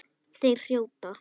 Þeir hrjóta.